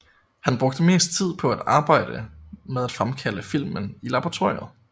Han brugte mest tid på at arbejde med at fremkalde filmen i laboratoriet